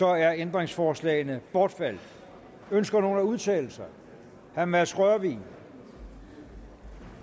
er ændringsforslagene bortfaldet ønsker nogen at udtale sig herre mads rørvig